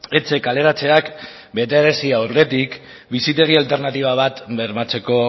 etxe kaleratzeak betearazi aurretik bizitegi alternatiba bat bermatzeko